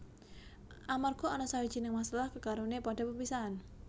Amarga ana sawijining masalah kekarone padha pepisahan